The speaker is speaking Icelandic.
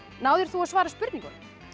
náðir þú að svara spurningunum